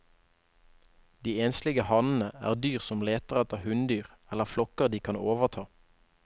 De enslige hannene er dyr som leter etter hunndyr eller flokker de kan overta.